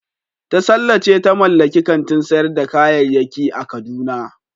Tasalla ce ta mallaki kantin sayar da kayayyaki a kaduna.